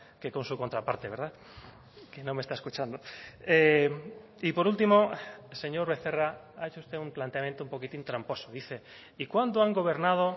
que con su contraparte verdad que no me está escuchando y por último señor becerra ha hecho usted un planteamiento un poquitín tramposo dice y cuándo han gobernado